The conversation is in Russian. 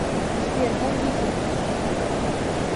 сбер кондитер хочу